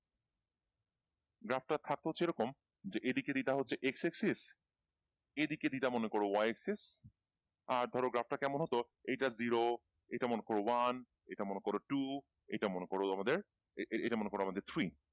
graph টা থাকতো হচ্ছে এইরকম যে দিকের ইটা হচ্ছে x x six এইদিকে ডি টা মনে করো y x six আর ধরো গ্রাফ টা কেমন হতো এইটা জিরো এইটা মনে করো ওয়ান এইটা মনে করো টু এইটা মনে করো আমাদের এইটা মনে করো আমাদের ফ্রী